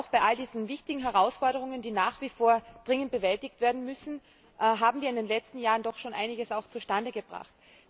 Bei all diesen wichtigen Herausforderungen, die nach wie vor dringend bewältigt werden müssen, haben wir in den letzten Jahren doch auch einiges zustande gebracht.